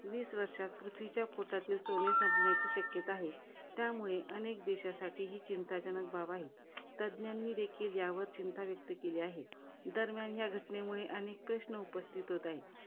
वीस वर्षात पृथ्वीच्या पोटातील सोने संपण्याची शक्यता आहे. त्यामुळे अनेक देशांसाठी ही चिंताजनक बाब आहे. तज्ञांनी देखील यावर चिंता व्यक्त केली आहे. दरम्यान या घटनेमुळे, अनेक प्रश्न निर्माण उपस्थित होत आहेत.